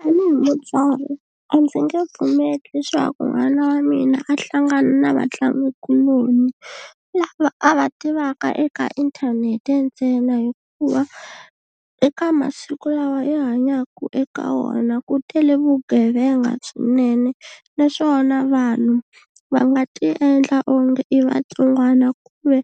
Tanihi mutswari a ndzi nge pfumeli leswaku n'wana wa mina a hlangana na vatlangikuloni lava a va tivaka eka inthanete ntsena hikuva eka masiku lawa hi hanyaku eka wona ku tele vugevenga swinene naswona vanhu va nga ti endla onge i vatsongwana ku ve